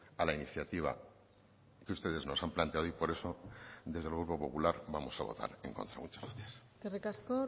a la iniciativa que ustedes nos han planteado y por eso desde el grupo popular vamos a votar en contra muchas gracias eskerrik asko